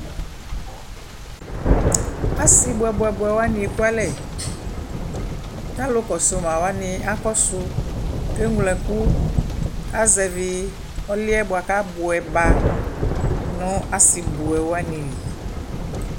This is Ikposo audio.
Asi buɛbuɛbuɛwani ekʋ alɛ kʋ alʋ kɔsumawani kakɔsu kʋ eŋlo ɛkʋ kʋ azɛvi ɔlʋ yɛ bua kʋ abuɛba nʋ asibuɛwani lι